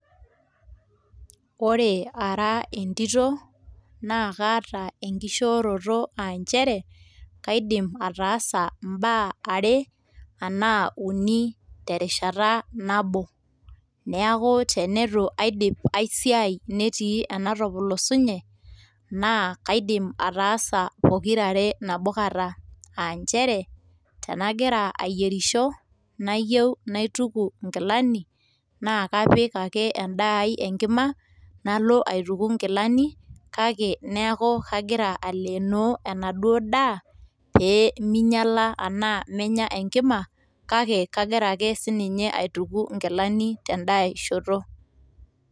Ore ara entito, naa kaata enkishooroto aa nchere, kaidim ataasa mbaa are anaa uni terishata nabo, neaku teneutu aidip aai siaai netii anatopolosunye naa kaidim ataasa pokira are nabo kata, aa nchere tanagira ayierisho nayiou naituku nkilani, naa kapika ake endaa aai enkima nalo aituku nkilani, kake neaku kagira aleenoo enaduo daa peeminyala arashu peemenya enkima ,kake kagira ake sininye aituku nkilani tendaishoto.